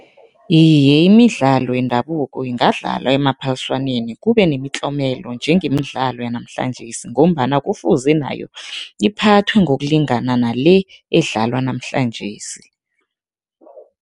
Iye, imidlalo yendabuko ingadlalwa emaphaliswaneni kube nemitlomelo njengemidlalo yanamhlanjesi ngombana kufuze nayo iphathwe ngokulingana nale edlalwa namhlanjesi.